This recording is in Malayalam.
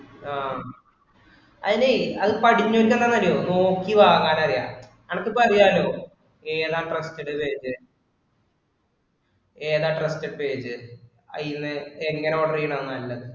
ആഹ് അയിനി അത് പടിഞ്ഞിട്ടുള്ളതറിയുവോ നോക്കി വാങ്ങാനറിയാം. നമുക്കിപ്പൊ അറിയാല്ലോ ഏതാ trusted page ഏതാ trusted page അതിന്ന് എങ്ങിനെ order ചെയ്യണതാ നല്ലതു